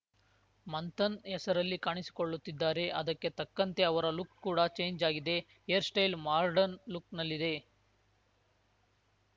ಮಂಥನ್‌ ಹೆಸರಲ್ಲಿ ಕಾಣಿಸಿಕೊಳ್ಳುತ್ತಿದ್ದಾರೆ ಅದಕ್ಕೆ ತಕ್ಕಂತೆ ಅವರ ಲುಕ್‌ ಕೂಡ ಚೇಂಜ್‌ ಆಗಿದೆ ಹೇರ್‌ ಸ್ಟೈಲ್‌ ಮಾರ್ಡನ್‌ ಲುಕ್‌ನಲ್ಲಿದೆ